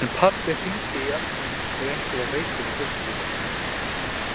En pabbi hringdi í ömmu ef einhver var veikur í fjölskyldunni.